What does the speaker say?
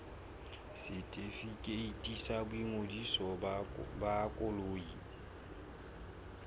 setefikeiti sa boingodiso ba koloi